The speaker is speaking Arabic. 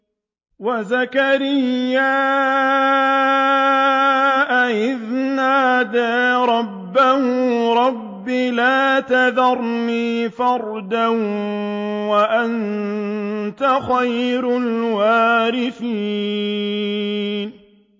وَزَكَرِيَّا إِذْ نَادَىٰ رَبَّهُ رَبِّ لَا تَذَرْنِي فَرْدًا وَأَنتَ خَيْرُ الْوَارِثِينَ